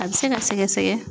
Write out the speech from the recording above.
A bɛ se ka sɛgɛsɛgɛ.